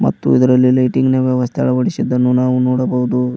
ಮತ್ತು ಇದರಲ್ಲಿ ಲೈಟಿಂಗ್ ನ ವ್ಯವಸ್ಥೆ ಅಳವಡಿಸಿದ್ದನ್ನು ನಾವು ನೋಡಬಹುದು.